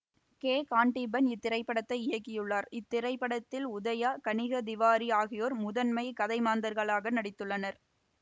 K Kandeepan இத்திரைப்படத்தை இயக்கியுள்ளார் இத்திரைப்படத்தில் உதயா கனிகா திவாரி ஆகியோர் முதன்மைக் கதைமாந்தர்களாக நடித்துள்ளனர்